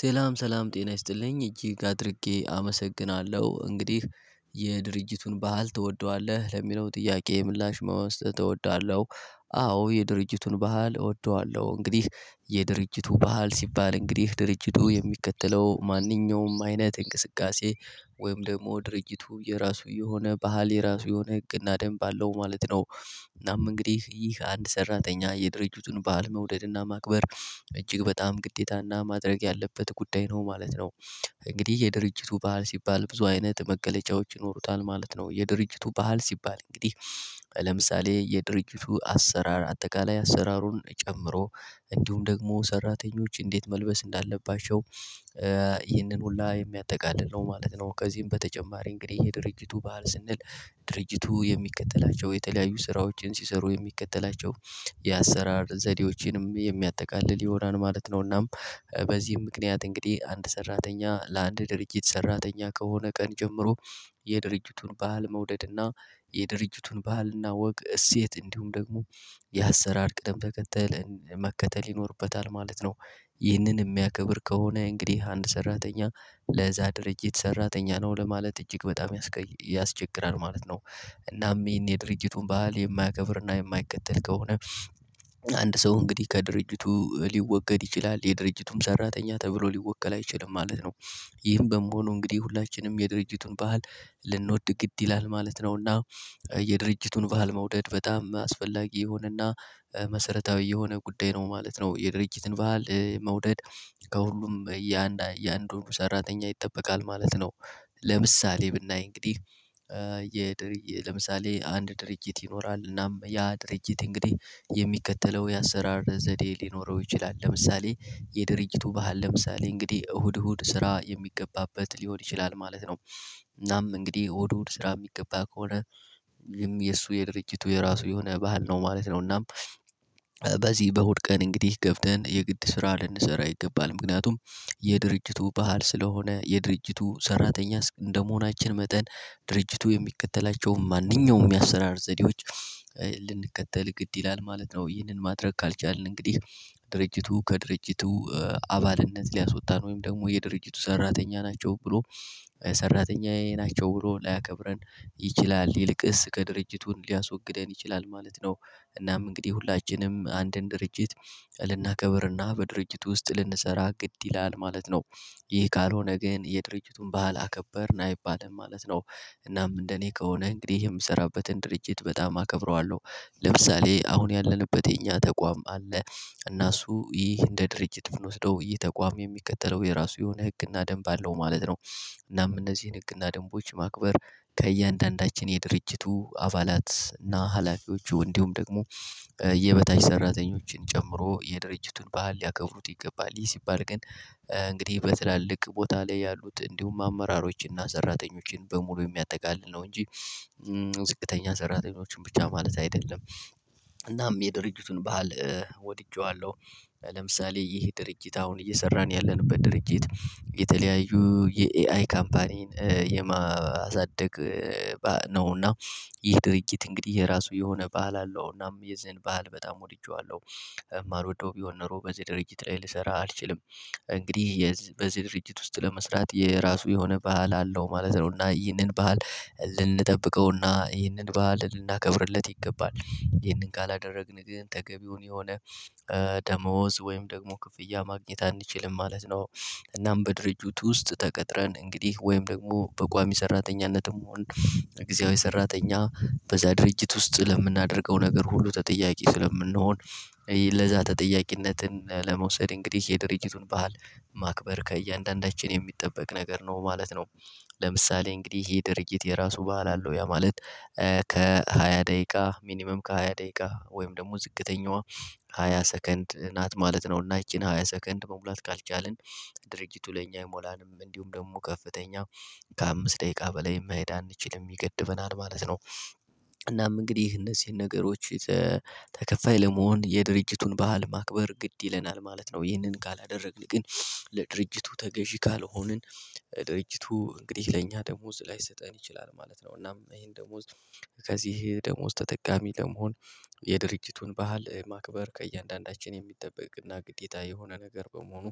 ሰላም ሰላም ጤና ይስጥልኝ እጅግ አድርጌ አመሰግናለሁ እንግዲህ የድርጅቱን ባህል ትወደዋለህ ለሚለው ጥያቄ ምላሽ መውሰድ እወዳለው። አዎ የድርጅቱን ባህል እወደዋለሁ እንግዲህ የድርጅቱ ባህል ሲባል እንግዲህ ድርጅቱ የሚከተለው ማንኛውም አይነት እንቅስቃሴ ወይም ደግሞ ድርጊቱ የራሱ የሆነ ባህል የራሱ የሆነ ህግና ደንብ አለው ማለት ነው። እናም እንግዲህ ይህ አንድ ሰራተኛ የድርጅቱን ባለመውደድና ማክበር እጅግ በጣም ግዴታና ማድረግ ያለበት ጉዳይ ነው ማለት ነው። እንግዲህ የድርጅቱ ባህል ሲባል ብዙ አይነት መገለጫዎች ይኖሩታል ማለት ነው የድርጅቱ ባህል ሲባል እንግዲህ ለምሳሌ የድርጅቱ አሰራር አጠቃላይ አሰራሩን ጨምሮ እንዲሁም ደግሞ ሰራተኞች እንዴት መልበስ እንዳለባቸው ይህንን ሁላ የሚያጠቃልል ነው ማለት ነው። ከዚህም በተጨማሪ እንግዲህ የድርጅቱ ባህል ስንል ድርጅቱ የሚከተላቸው የተለያዩ ስራዎችን ሲሰሩ የሚከተላቸው የአሰራር ዘዴዎችንም የሚያጠቃልል ይሆናል ማለት ነው። እናም በዚህም ምክንያት እንግዲህ አንድ ሰራተኛ ለአንድ ድርጅት ሰራተኛ ከሆነ ቀን ጀምሮ የድርጅቱን ባህል መውደድና የድርጅቱን ባህልና ወግ እሴት እንዲሁም ደግሞ ያሰራር ቅደም ተከተል መከተል ይኖርበታል ማለት ነው። ይህንን የሚያከብር ከሆነ እንግዲህ አንድ ሰራተኛ ለዛ ድርጅት ሰራተኛ ነው ለማለት እጅግ በጣም ያስቸግራል ማለት ነው። እናም ይሄን የድርጅቱን ባህል የማያከብርና የማይከተል ከሆነ አንድ ሰው እንግዲህ ከድርጅቱ ሊወገድ ይችላል የድርጅቱም ሰራተኛ ተብሎ ሊወከል አይችልም ማለት ነው። ይህም በመሆኑ እንግዲህ ሁላችንም የድርጅቱን ባህል ልንወድ ግድ ይላል ማለት ነውና የድርጅቱን ባህል መውደድ በጣም አስፈላጊ የሆነና መሰረታዊ የሆነ ጉዳይ ነው ማለት ነው። የድርጅትን በዓል መውደድ ከሁሉም ያን ያን የሰራተኛ ይጠበቃል ማለት ነው። ለምሳሌ ብናይ እንግዲህ የ ለምሳሌ አንድ ድርጅት ይኖራል እናም ያ ድርጅት እንግዲህ የሚከተለው የአሰራር ዘዴ ሊኖረው ይችላል ለምሳሌ የድርጅቱ ባህል ለምሳሌ እንግዲህ እሁድ እሁድ ስራ የሚገባበት ሊሆን ይችላል ማለት ነው። እናም እንግዲህ እሁድ እሁድ ስራ የሚገባ ከሆነ የሱ የድርጅቱ የራሱ የሆነ ባህል ነው ማለት ነው። እናም በዚህ በእሁድ ቀን እንግዲህ ገብተን የግድ ስራ ልንሰራ ይገባል ምክንያቱም የድርጅቱ ባህል ስለሆነ የድርጅቱ ሰራተኛ እንደመሆናችን መጠን ድርጅቱ የሚከተላቸውን ማንኛውም ያሰራር ዘዴዎች ልንከተል ግድ ይላል ማለት ነው። ይህንን ማድረግ ካልቻልን እንግዲህ ድርጅቱ ከድርጅቱ አባልነት ሊያስወጣን ወይም ደግሞ የድርጅቱ ሰራተኛ ናቸው ብሎ ሰራተኛዬ ናቸው ብሎ ላያከብረን ይችላል ይልቅስ ከድርጅቱን ሊያስወግደን ይችላል ማለት ነው። እናም እንግዲህ ሁላችንም አንድን ድርጅት ልናከብርና በድርጅቱ ውስጥ ልንሰራ ግድ ይላል ማለት ነው። ይህ ካልሆነ ግን የድርጅቱን ባህል አከበርን አይባልም ማለት ነው። እናም እንደኔ ከሆነ እንግዲህ የምሰራበትን ድርጅት በጣም አከብረዋለሁ ለምሳሌ አሁን ያለንበት የኛ ተቋም አለ እና እሱ ይህ እንደ ድርጅት ብንወስደው ይህ ተቋም የሚከተለው የራሱ የሆነ ህግና ደንብ አለው ማለት ነው። እናም እነዚህን ህግና ደንቦች ማክበር ከእያንዳንዳችን የድርጅቱ አባላት እና ሀላፊዎቹ እንዲሁም ደግሞ የበታች ሰራተኞችን ጨምሮ የድርጅቱን ባህል ሊያከብሩት ይገባል ይህ ሲባል ግን እንግዲህ በትላልቅ ቦታ ላይ ያሉት እንዲሁም አመራሮችንና ሰራተኞችን በሙሉ የሚያጠቃልል ነው እንጂ ዝቅተኛ ሰራተኞችን ብቻ ማለት አይደለም። እናም የድርጅቱን ባህል ወድጄዋለሁ። ለምሳሌ ይህ ድርጅት አሁን እየሰራን ያለንበት ድርጅት የተለያዩ የኤአይ ካምፓኒን የማሳደግ ነውና። ይህ ድርጊት እንግዲህ የራሱ የሆነ ባህል አለው እናም የዚህን ባህል በጣም ወድጄዋለሁ። የማልወደው ቢሆን ኖሮ በዚህ ድርጅት ላይ ልሰራ አልችልም እንግዲህ በዚህ ድርጅት ውስጥ ለመስራት የራሱ የሆነ ባህል አለው ማለት ነው። እና ይህንን ባህል ልንጠብቀው እና ይህንን ባህል ልናከብርለት ይገባል ይህንን ካላደረግን ግን ተገቢውን የሆነ ደሞዝ ወይም ደግሞ ክፍያ ማግኘት አንችልም ማለት ነው። እናም በድርጅቱ ውስጥ ተቀጥረን እንግዲህ ወይም ደግሞ በቋሚ ሰራተኝነትም ሆን በጊዜያዊ ሰራተኛ በዛ ድርጅት ውስጥ ለምናደርገው ነገር ሁሉ ተጠያቂ ስለምንሆን ለዛ ተጠያቂነትን ለመውሰድ እንግዲህ የድርጅቱን ባህል ማክበር ከእያንዳንዳችን የሚጠበቅ ነገር ነው ማለት ነው። ለምሳሌ እንግዲህ ይሄ ድርጊት የራሱ ባህል አለው ያ ማለት ከሃያ ደቂቃ ሚኒመም ከሃያ ደቂቃ ወይም ደግሞ ዝቅተኛዋ ሃያ ሰከንድ ናት ማለት ነው እና ይቺን ሃያ ሰከንድ መሙላት ካልቻልን ድርጅቱ ለኛ አይሞላንም እንዲሁም ደግሞ ከፍተኛ ከአምስት ደቂቃ በላይ መሄድ አንችልም ይገድበናል ማለት ነው። እንግዲህ እነዚህን ነገሮች ተከፋይ ለመሆን የድርጅቱን ባህል ማክበር ግድ ይለናል ማለት ነው። ይህንን ካላደረግን ግን ለድርጅቱ ተገዢ ካልሆንን ድርጅቱ እንግዲህ ለእኛ ደሞዝ ላይሰጠን ይችላል ማለት ነው። እናም ይሄን ደሞዝ ከዚህ ደሞዝ ተጠቃሚ ለመሆን የድርጅቱን ባህል ማክበር ከእያንዳንዳችን የሚጠበቅና ግዴታ የሆነ ነገር በመሆኑ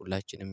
ሁላችንም